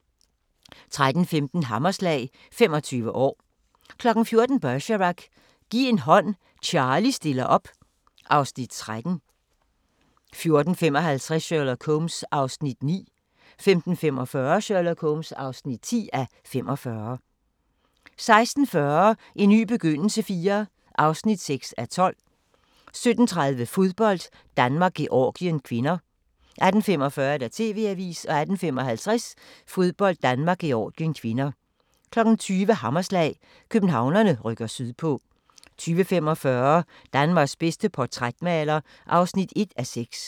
13:15: Hammerslag – 25 år 14:00: Bergerac: Giv en hånd, Charlie stiller op (Afs. 13) 14:55: Sherlock Holmes (9:45) 15:45: Sherlock Holmes (10:45) 16:40: En ny begyndelse IV (6:12) 17:30: Fodbold: Danmark-Georgien (k) 18:45: TV-avisen 18:55: Fodbold: Danmark-Georgien (k) 20:00: Hammerslag – Københavnerne rykker sydpå 20:45: Danmarks bedste portrætmaler (1:6)